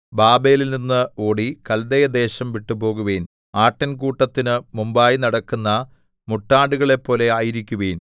ബാബേലിൽനിന്ന് ഓടി കല്ദയദേശം വിട്ടു പോകുവിൻ ആട്ടിൻകൂട്ടത്തിന് മുമ്പായി നടക്കുന്ന മുട്ടാടുകളെപ്പോലെ ആയിരിക്കുവിൻ